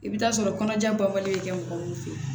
I bɛ taa sɔrɔ kɔnɔja baba in bɛ kɛ mɔgɔ min fɛ yen